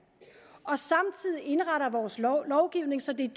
og indretter vores lovgivning så det